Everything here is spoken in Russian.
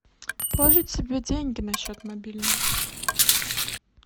положить себе деньги на счет мобильного